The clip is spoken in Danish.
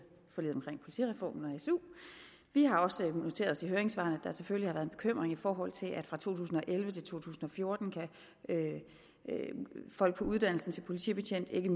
forliget omkring politireformen og suen vi har også noteret os i høringssvarene selvfølgelig har været en bekymring i forhold til at fra to tusind og elleve til to tusind og fjorten kan folk på uddannelsen til politibetjent ikke